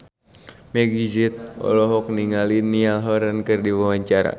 Meggie Z olohok ningali Niall Horran keur diwawancara